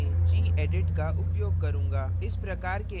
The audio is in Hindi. मैं इस tutorial में gedit का उपयोग करूँगा